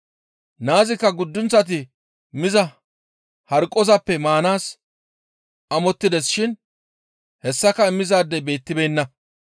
Naazikka guddunththati miza harqqozappe maanaas amottides shin hessaka immizaadey beettibeenna.